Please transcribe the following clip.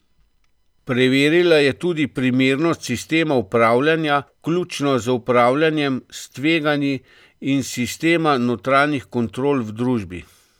Preverila je tudi primernost sistema upravljanja, vključno z upravljanjem s tveganji, in sistema notranjih kontrol v družbi.